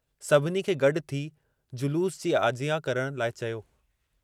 सभिनी खे गड्डु थी जुलूस जी आजियां करण लाइ चयो।